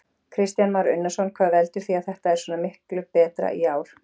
Kristján Már Unnarsson: Hvað veldur því að þetta er svona miklu betra í ár?